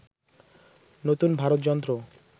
নূতন ভারত যন্ত্র